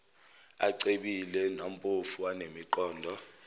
acebile nampofu anemiqondo